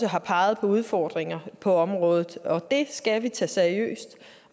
har peget på udfordringer på området og det skal vi tage seriøst